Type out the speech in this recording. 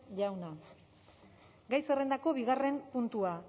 jauna gai zerrendako bigarren puntua